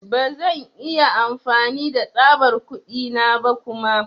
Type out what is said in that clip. Ba zan iya amfani da tsabar kuɗi na ba kuma.